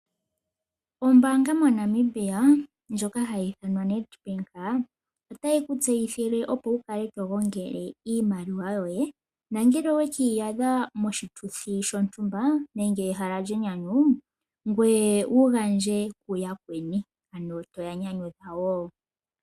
Ombaanga moNamibia ndjoka ha yi ithanwa Nedbank ota yi ku tseyithile opo ukale to gongele iimaliwa yoye, nongele oweki iyadha moshituthi shotumba nenge ehala lyenyanyu ngweye ugandje kuyakweni ano to ya nyanyudha wo.